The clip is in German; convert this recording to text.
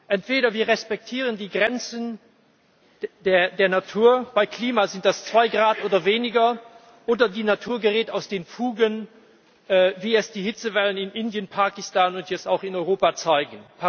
Entweder wir respektieren die Grenzen der Natur beim Klima sind das zwei Grad oder weniger oder die Natur gerät aus den Fugen, wie es die Hitzewellen in Indien, Pakistan und jetzt auch in Europa zeigen.